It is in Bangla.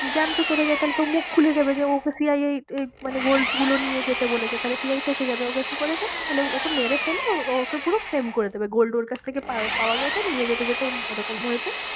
যে আমি তো চলে যাই, তাহলে তো ও মুখ খুলে দেবে যে ও ওকে CI এই মানে gold গুলো নিয়ে যেতে বলেছে, তাহলে CI ফেঁসে যাবে, ও কে কি করেছে তাহলে ওকে মেরে ফেলে ও ওকে পুরো flame করে দেবে gold ওর কাছ থেকে পাওয়া গেছে, নিয়ে যেতে যেতে ও এরকম হয়েছে।